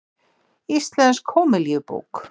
Íslensk hómilíubók.